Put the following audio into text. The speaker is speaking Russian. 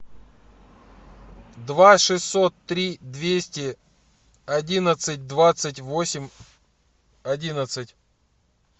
два шестьсот три двести одиннадцать двадцать восемь одиннадцать